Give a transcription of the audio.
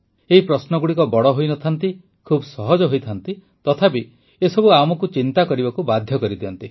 ଏହି ପ୍ରଶ୍ନଗୁଡ଼ିକ ବଡ଼ ହୋଇ ନ ଥାନ୍ତି ଖୁବ ସହଜ ହୋଇଥାନ୍ତି ତଥାପି ଏ ସବୁ ଆମକୁ ଚିନ୍ତା କରିବାକୁ ବାଧ୍ୟ କରିଦିଅନ୍ତି